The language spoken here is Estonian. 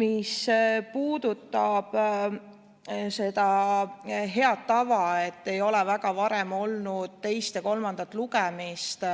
Mis puudutab seda head tava, et varem väga ei ole olnud teist ja kolmandat lugemist